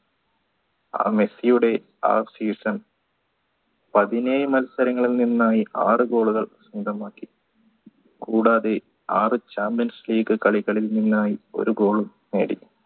ആ മെസ്സിയുടെ ആ season പതിനേഴ് മത്സരങ്ങളിൽ നിന്നായി ആർ goal കൾ കൂടാതെ ആർ champions league കളികളിൽ നിന്നായി ഒരു goal ഉം നേടി